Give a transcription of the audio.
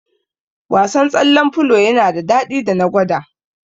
Wasan tsallen filo yana da daɗi da na gwada